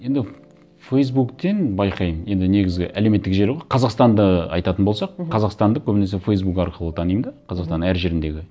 енді фейсбуктен байқаймын енді негізгі әлеуметтік желі ғой қазақстанды айтатын болсақ мхм қазақстанды көбінесе фейсбук арқылы танимын да қазақстан әр жеріндегі